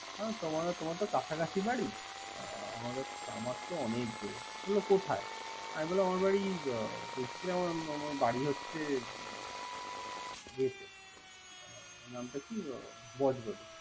হ তোমার তো কাছাকাছি বাড়ি। আমার তো অনেক দুরে। বলল কোথায়? আমি বললাম আমি বারি হচ্ছে দক্ষিনা আমার বাড়ি হচ্ছে ইয়েতে নামটা কি বজবলি।